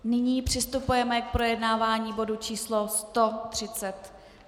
Nyní přistupujeme k projednávání bodu číslo